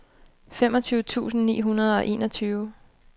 femogtyve tusind ni hundrede og enogtyve